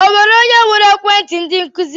Onwere onye huru ekwenti ndi nkuzi?